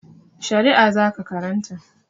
Shari'a za ka karanta!